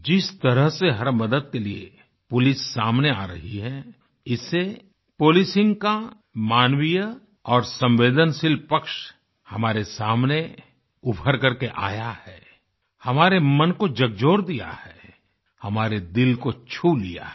जिस तरह से हर मदद के लिए पुलिस सामने आ रही है इससे पोलिसिंग का मानवीय और संवेदनशील पक्ष हमारे सामने उभरकर के आया है हमारे मन को झकझोर दिया है हमारे दिल को छू लिया है